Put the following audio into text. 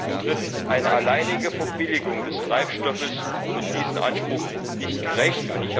Und drittens eine alleinige Verbilligung des Treibstoffes wird diesem Anspruch nicht gerecht.